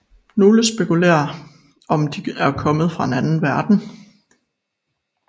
Nogle spekulerer om de er kommet fra en anden verden